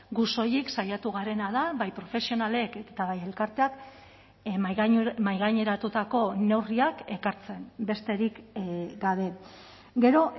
gu soilik saiatu garena da bai profesionalek eta bai elkarteak mahaigaineratutako neurriak ekartzen besterik gabe gero